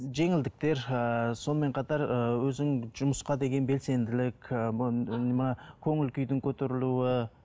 жеңілдіктер ііі сонымен қатар ыыы өзің жұмысқа деген білсенділік ііі мына көңіл күйдің көтерілуі